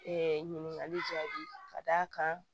ɲininkali jaabi ka d'a kan